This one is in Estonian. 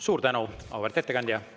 Suur tänu, auväärt ettekandja!